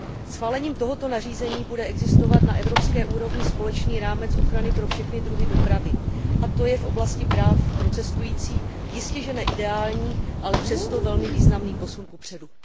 Schválením tohoto nařízení bude existovat na evropské úrovni společný rámec ochrany pro všechny druhy dopravy, a to je v oblasti práv pro cestující jistěže ne ideální, ale přesto velmi významný posun kupředu.